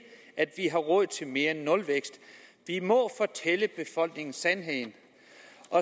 at vi har råd til mere end nulvækst vi må fortælle befolkningen sandheden